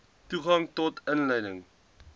toegang tot inligting